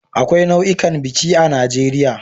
Akwai nau'ikan biki a Najeriya